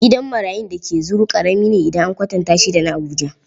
Gidan marayun da ke Zuru ƙarami ne idan an kwatanta da shi na Abuja.